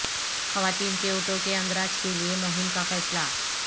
خواتین کے ووٹوں کے اندراج کے لیے مہم کا فیصلہ